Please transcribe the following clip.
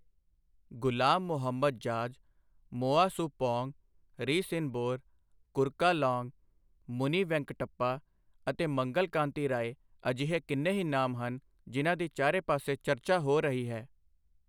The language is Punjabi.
ਗ਼ੁਲਾਮ ਮੁਹੰਮਦ ਜਾਜ਼, ਮੋਆ ਸੁ ਪੌਂਗ, ਰੀ ਸਿੰਹਬੋਰ, ਕੁਰਕਾ ਲਾਂਗ, ਮੁਨੀ ਵੈਂਕਟੱਪਾ ਅਤੇ ਮੰਗਲ ਕਾਂਤੀ ਰਾਏ ਅਜਿਹੇ ਕਿੰਨੇ ਹੀ ਨਾਮ ਹਨ, ਜਿਨ੍ਹਾਂ ਦੀ ਚਾਰੇ ਪਾਸੇ ਚਰਚਾ ਹੋ ਰਹੀ ਹੈ।